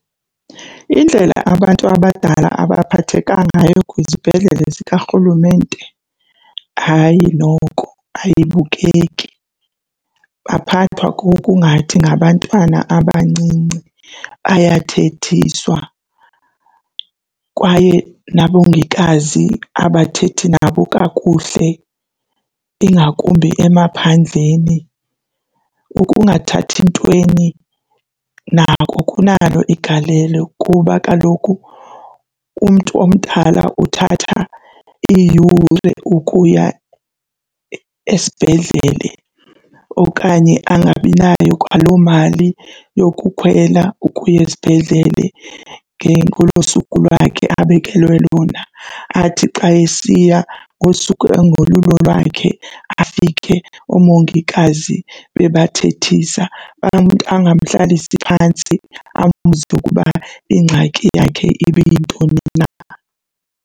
Indlela abantu abadala abaphatheka ngayo kwizibhedlele zikaRhulumente, hayi noko ayibukeki. Baphathwa ngokungathi ngabantwana abancinci, bayathethiswa kwaye nabongikazi abathethi nabo kakuhle ingakumbi emaphandleni. Ukungathathi ntweni nako kunalo igalelo kuba kaloku umntu omdala uthatha iiyure ukuya esibhedlele okanye angabi nayo kwaloo mali yokukhwela ukuya esibhedlele ngolo suku lwakhe abekelwe lona. Athi xa esiya ngosuku ongolulo lwakhe afike oomongikazi bebathethisa, angamhlalisi phantsi ambuze ukuba ingxaki yakhe ibe yintoni na.